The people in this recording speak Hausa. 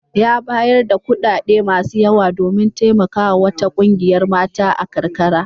Ya bayar da kuɗaɗe masu yawa domin taimakawa wata ƙungiyar mata a karkara.